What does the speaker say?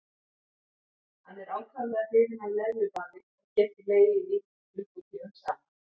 Hann er ákaflega hrifinn af leðjubaði og getur legið í því klukkutímum saman.